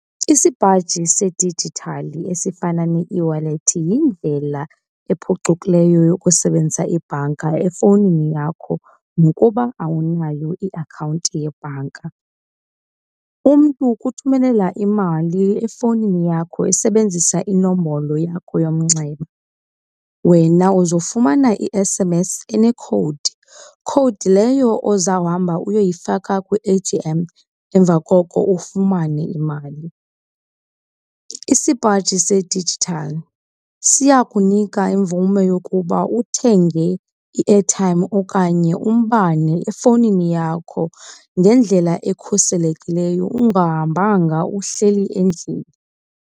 Isipaji sedijithali esifana ne-eWallet yindlela ephucukileyo yokusebenzisa ibhanka efowunini yakho nokuba awunayo iakhawunti yebhanka. Umntu ukuthumela imali efowunini yakho esebenzisa inombolo yakho yomnxeba, wena uzofumana i-S_M_S enekhowudi, khowudi leyo ozawuhamba uyoyifaka kwi-A_T_M emva koko ufumane imali. Isipaji sedijithali siya kunika imvume yokuba uthenge i-airtime okanye umbane efowunini yakho ngendlela ekhuselekileyo ungahambanga, uhleli endlini.